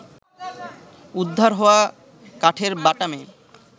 উদ্ধার হওয়া কাঠের বাটামে